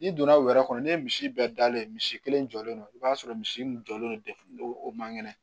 N'i donna u yɛrɛ kɔnɔ ne ye misi bɛɛ dalen misi kelen jɔlen don i b'a sɔrɔ misi min jɔlen don o man kɛnɛ